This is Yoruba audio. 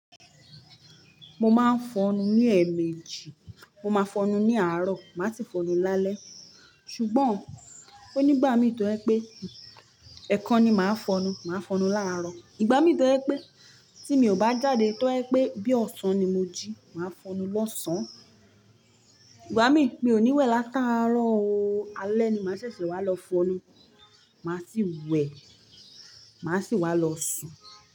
Mo máa ń fọnu ní ẹ̀mejì, mo máa fọnu ní àárọ̀, màá si fọnu lálẹ́. Ṣùgbọ́n, ó nígbà mí tó jẹ̀ pé ẹ̀kan ni màá fọnu, màá fọnu láàrọ̀. Ìgbà mí tó jẹ̀ pé tí mi ò bá jáde tó jẹ̀ pé bí ọ̀sán ni mo jí, màá fọnu lọ́sàn-án. Ìgbà mí, mi ò ní wẹ̀ látàárọ̀ o. Alẹ́ ni màá ṣẹ̀ṣẹ̀ wá lọ fọnu. Màá sì wẹ̀, màá sì wá lọ sùn.